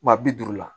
Wa bi duuru la